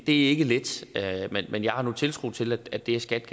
ikke let men jeg har nu tiltro til at det er skat